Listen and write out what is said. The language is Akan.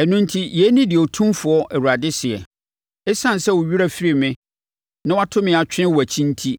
“Ɛno enti yei ne deɛ Otumfoɔ Awurade seɛ: Esiane sɛ wo werɛ afiri me na woato me atwene wʼakyi enti,